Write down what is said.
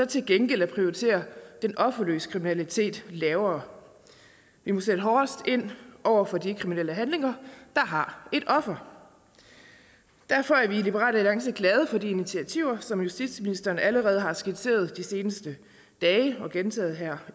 til gengæld at prioritere den offerløse kriminalitet lavere vi må sætte hårdest ind over for de kriminelle handlinger der har et offer derfor er vi i liberal alliance glade for de initiativer som justitsministeren allerede har skitseret de seneste dage og gentaget her